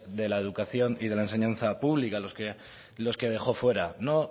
de la educación y la enseñanza pública los que dejó fuera no